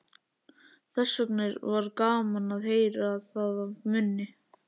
Þessvegna var gaman að heyra það af munni